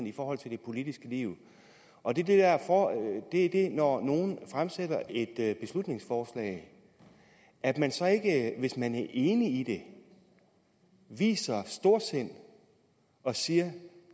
i forhold til det politiske liv og det det er det at når nogen fremsætter et beslutningsforslag at man så ikke hvis man er enig i det viser storsind og siger at